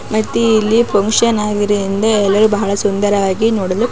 ಮತ್ತೆ ಇಲ್ಲಿ ಫಂಕ್ಷನ್ ಆಗಿದೆ ಅಂದ್ರೆ ಇಲ್ಲಿ ಬಹಳ ಸುಂದರವಾಗಿ ನೋಡಲು--